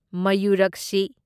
ꯃꯌꯨꯔꯛꯁꯤ